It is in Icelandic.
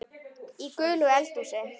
Í gulu eldhúsi